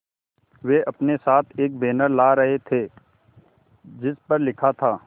वे अपने साथ एक बैनर लाए थे जिस पर लिखा था